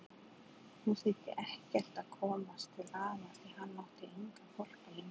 Nú þýddi ekkert að komast til afa því hann átti engan hvolp lengur.